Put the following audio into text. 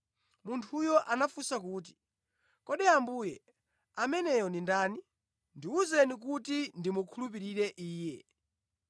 Munthuyo anafunsa kuti, “Kodi, Ambuye, ameneyo ndi ndani? Ndiwuzeni kuti ndimukhulupirire Iye?”